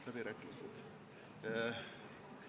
Läbirääkimised?